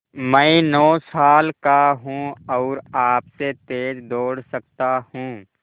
मैं नौ साल का हूँ और आपसे तेज़ दौड़ सकता हूँ